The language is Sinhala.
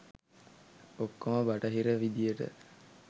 ඔක්කොම බටහිර විදියට.